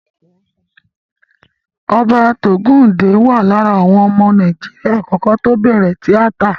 Hubert Ògúǹdè wà lára àwọn ọmọ Nàíjíríà àkọ́kọ́ tí ó bẹ̀rẹ̀ tíátà.